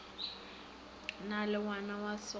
na le ngwana wa segole